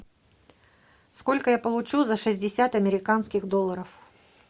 сколько я получу за шестьдесят американских долларов